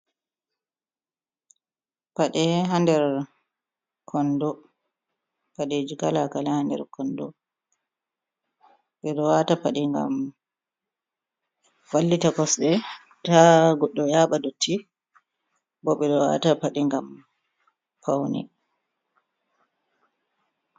Paɗe haander kondo, paɗeji kala kale ha nder kondo, ɓe ɗo wata paɗi ngam vallita kosɗe ta goɗɗo yaɓa dotti, bo ɓe ɗo wata padi ngam pauni.